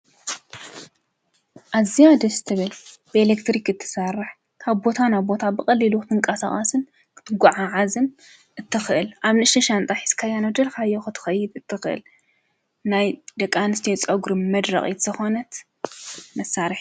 ኣዝያ ደስ ትበል በኤክትሪክ ትሰርሕ ካብ ቦታ ናብ ቦታ ብቀሊሉ ትንቀሳቀስን ትጓዓዓዝን እትክእል ኣብ ንእሽተይ ሻንጣ ሒዝካዮ ናብ ዝደለካዮ ትከይድ እትክል ናይ ደቂ ኣንስትዮ ፀጉሪ መድረቂት ዝኾነት መሳሪሒት።